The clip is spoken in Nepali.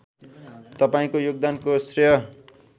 तपाईँको योगदानको श्रेय